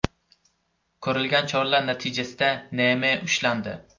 Ko‘rilgan choralar natijasida N.M. ushlandi.